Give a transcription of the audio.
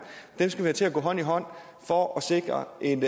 skal vi have til at gå hånd i hånd for at sikre en